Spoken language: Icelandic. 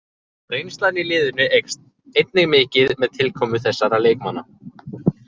Reynslan í liðinu eykst einnig mikið með tilkomu þessara leikmanna.